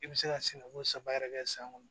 I bɛ se ka sɛnɛko saba yɛrɛ kɛ san kɔnɔ